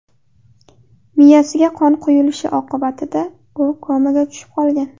Miyasiga qon quyilishi oqibatida u komaga tushib qolgan.